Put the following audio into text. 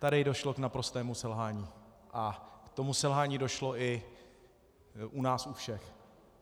Tady došlo k naprostému selhání, a k tomu selhání došlo i u nás u všech.